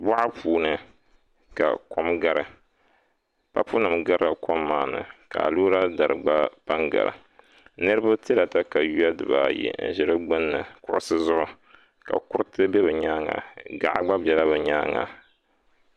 Boɣa puuni ka kom gari papu nim garila kom maa ni ka aluura dari gba pa n gari niraba tila katawiya dibaayi n ʒi di gbunni kuɣusi zuɣu ka kuriti bɛ bi nyaanga gaɣa gba biɛla bi nyaanga